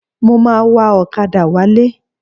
Mo ma wa ọ̀kadà wálé.